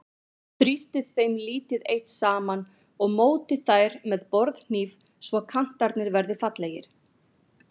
Þrýstið þeim lítið eitt saman og mótið þær með borðhníf svo kantarnir verði fallegir.